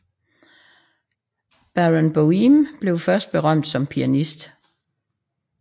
Barenboim blev først berømt som pianist